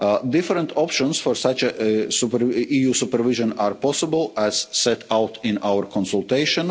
Different options for EU supervision are possible, as set out in our consultation.